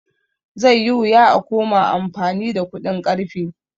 Zai yi wuya a koma amfani da kuɗin ƙarfe